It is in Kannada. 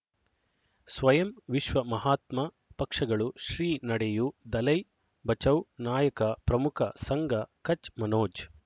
ಸ್ವಯಂ ವಿಶ್ವ ಮಹಾತ್ಮ ಪಕ್ಷಗಳು ಶ್ರೀ ನಡೆಯೂ ದಲೈ ಬಚೌ ನಾಯಕ ಪ್ರಮುಖ ಸಂಘ ಕಚ್ ಮನೋಜ್